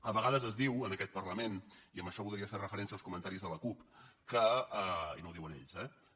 a vegades es diu en aquest parlament i amb això voldria fer referència als comentaris de la cup que i no ho diuen ells eh